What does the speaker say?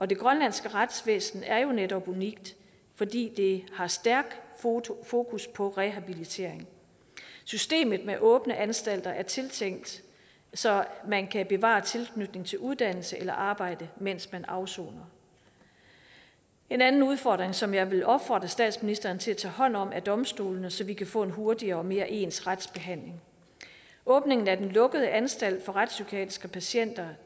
det grønlandske retsvæsen er jo netop unikt fordi det har stærkt fokus på rehabilitering systemet med åbne anstalter er tænkt så man kan bevare tilknytning til uddannelse eller arbejde mens man afsoner en anden udfordring som jeg vil opfordre statsministeren til at tage hånd om er domstolene så vi kan få en hurtigere og mere ens retsbehandling åbningen af den lukkede anstalt for retspsykiatriske patienter